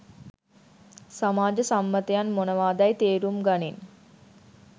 සමාජ සම්මතයන් මොනවාදැයි තේරුම් ගනින්